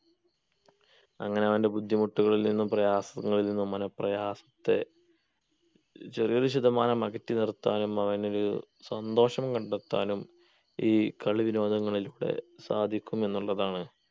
അങ്ങനെ അവൻ്റെ ബുദ്ധിമുട്ടുകളിൽ നിന്നും പ്രയാസങ്ങളിൽ നിന്നും മന പ്രയാസത്തെ ചെറിയൊരു ശതമാനം അകറ്റി നിർത്താനും അവനൊരു സന്തോഷം കണ്ടെത്താനും ഈ കളി വിനോദങ്ങളിലൂടെ സാധിക്കും എന്നുള്ളതാണ്